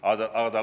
Loomulikult mitte.